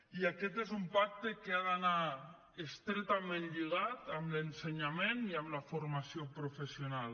i aquest és un pacte que ha d’anar estretament lligat amb l’ensenyament i amb la formació professional